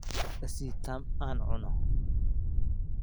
I sii tam aan cuno.